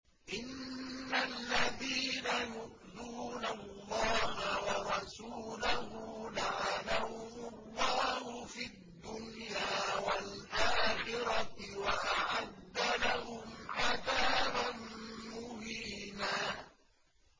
إِنَّ الَّذِينَ يُؤْذُونَ اللَّهَ وَرَسُولَهُ لَعَنَهُمُ اللَّهُ فِي الدُّنْيَا وَالْآخِرَةِ وَأَعَدَّ لَهُمْ عَذَابًا مُّهِينًا